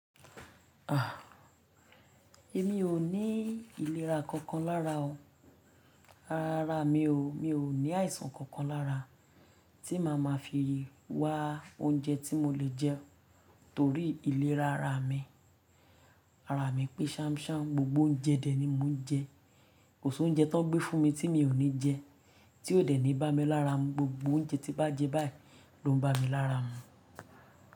Ah! Èmi ò ní ìlera kankan lára o. Ara mi o, mi ò ní àìsàn kankan lára tí màá ma fi wá oúnjẹ tí mo le jẹ torí ìlera ara mi. Ara mi pé ṣánṣán, gbogbo oúnjẹ dè é ni mo ń jẹ kò sọ oúnjẹ tó gbé fún mi tí mi ò ní jẹ, tí ò dè ní bá mi lára mú. Gbogbo oúnjẹ tí bá jẹ báyìí ló ń bá mi lára mú.